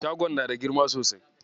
Shagon na da girma sosai.